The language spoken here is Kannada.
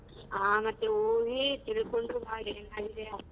ಆ ಮತ್ತೆ ಹೋಗಿ ತಿಳಿಕೊಂಡು ಬಾ ಏನಾಗಿದೆ ಅಂತ.